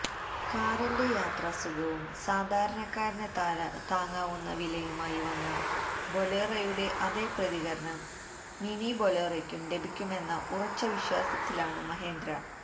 കാറിന്റെ യാത്രാസുഖവും സാധാരണക്കാരന് താങ്ങാവുന്ന വിലയുമായി വന്ന ബൊലേറോയുടെ അതേ പ്രതികരണം മിനി ബൊലേറോയ്ക്കും ലഭിക്കുമെന്ന ഉറച്ച വിശ്വാസത്തിലാണ് മഹീന്ദ്ര